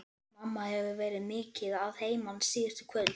Mamma hefur verið mikið að heiman síðustu kvöld.